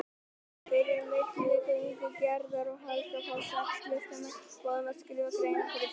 Fyrir milligöngu Gerðar og Helga fá sex listamenn boð um að skrifa greinar fyrir blaðið.